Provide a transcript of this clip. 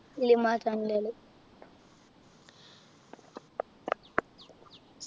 cinema channel കൾ